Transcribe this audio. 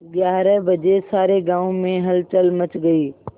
ग्यारह बजे सारे गाँव में हलचल मच गई